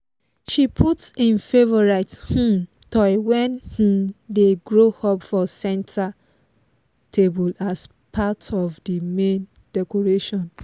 she put im favourite um toy when im dey grow up for centre table as parrt of the main decoration